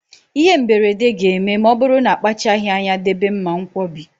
Ịhe mberede ga-eme ma ọ bụrụ na akpachaghị anya debe mmankwọbi.